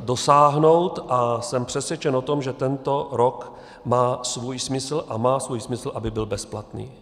dosáhnout, a jsem přesvědčen o tom, že tento rok má svůj smysl, a má svůj smysl, aby byl bezplatný.